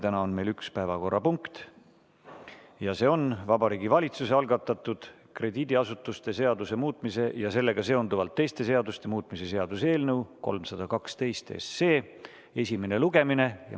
Täna on meil üks päevakorrapunkt, see on Vabariigi Valitsuse algatatud krediidiasutuste seaduse muutmise ja sellega seonduvalt teiste seaduste muutmise seaduse eelnõu 312 esimene lugemine.